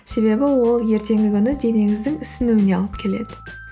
себебі ол ертеңгі күні денеңіздің ісінуіне алып келеді